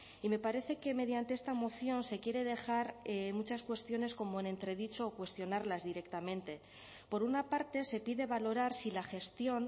y me parece que mediante esta moción se quiere dejar muchas cuestiones como en entredicho o cuestionarlas directamente por una parte se pide valorar si la gestión